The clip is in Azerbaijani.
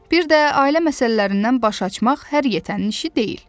Bir də ailə məsələlərindən baş açmaq hər yetənin işi deyil.